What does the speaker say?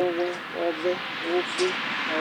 ɔwɛ ofue nʋ ɔwɛ